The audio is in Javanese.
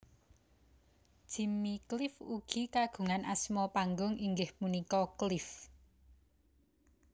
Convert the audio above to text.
Jimmy Cliff ugi kagungan asma panggung inggih punika Cliff